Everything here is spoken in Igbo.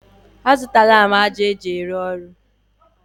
A zụtala m ájá eji arụ ọrụ.